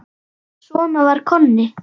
Svona var Konni.